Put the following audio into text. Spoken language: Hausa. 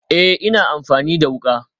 Ee, ina amfani da wuka